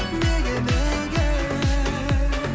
неге неге